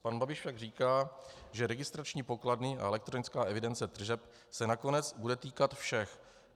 Pan Babiš však říká, že registrační pokladny a elektronická evidence tržeb se nakonec bude týkat všech.